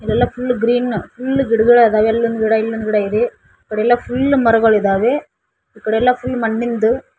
ಇಲೆಲ್ಲಾ full green full ಗಿಡಗಳಾದ ಅಲ್ಲೊಂದು ಗಿಡ ಇಲ್ಲೊಂದು ಗಿಡ ಇದೆ ಆಕಡೆ ಎಲ್ಲಾ ಫುಲ್ ಮರಗಳಿದ್ದಾವೆ ಅಕಡೆಯೆಲ್ಲ ಫುಲ್ ಮಣ್ಣಿಂದು --